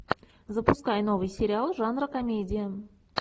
запускай новый сериал жанра комедия